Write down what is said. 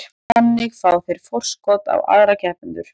Þannig fá þeir forskot á aðra keppendur.